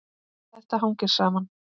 Þetta hangir saman.